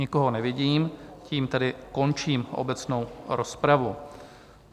Nikoho nevidím, tím tedy končím obecnou rozpravu.